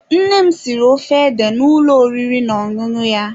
Nne m siri ofe ede n'ụlọ oriri na ọṅụṅụ ya.